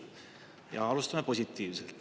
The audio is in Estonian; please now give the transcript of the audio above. Ja alustame positiivselt.